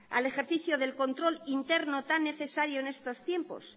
al ejercicio de control interno tan necesario en estos tiempos